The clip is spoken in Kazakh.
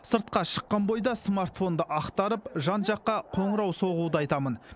сыртқа шыққан бойда смартфонды ақтарып жан жаққа қоңырау соғуды айтамын